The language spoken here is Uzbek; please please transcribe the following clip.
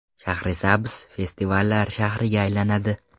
Shahrisabz festivallar shahriga aylanadi.